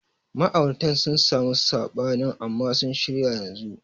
Ma'auratan sun samu sabani amman sun shirya yanzun.